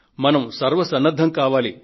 మనం సర్వసన్నద్ధం కావాలి